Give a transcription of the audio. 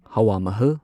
ꯍꯋꯥ ꯃꯍꯜ